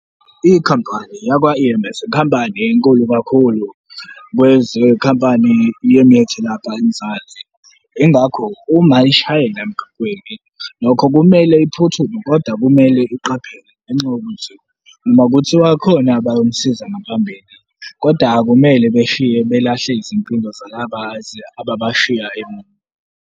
Ikhampani yakwa-E_M_S ikhampani enkulu kakhulu kwezekhampani yemithi lapha eMzansi, yingakho uma ishayela emgaqweni, nokho kumele iphuthume kodwa kumele iqaphele ngenxa . Noma kuthi khona abayomsiza ngaphambili kodwa akumele beshiye belahle izimpilo zalaba ababashiya emuva.